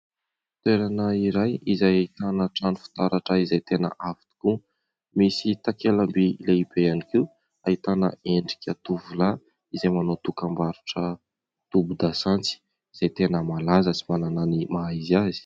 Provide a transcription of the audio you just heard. Toerana iray izay ahitana trano fitaratra izay tena avo tokoa, misy takela-by lehibe ihany koa ahitana endrika tovolahy, izay manao dokam-barotra tobin-dasantsy izay tena malaza sy manana ny maha izy azy.